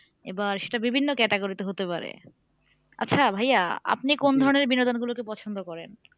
এবার সেটা বিভিন্ন category তে হতে পারে আচ্ছা ভাইয়া আপনি কোন ধরনের বিনোদন গুলোকে পছন্দ করেন?